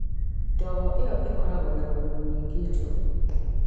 Ndogo ĩyo ĩkoragwo na thumu nyingĩ njũru.